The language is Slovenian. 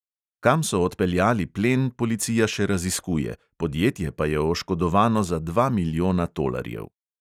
Kam so odpeljali plen, policija še raziskuje, podjetje pa je oškodovano za dva milijona tolarjev.